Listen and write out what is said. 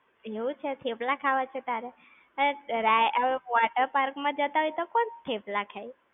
એવું છે થેપલા ખાવા છે તારે? હટ્ટ, રાય. હવે water park માં જતા હોય તો કોણ થેપલા ખાય?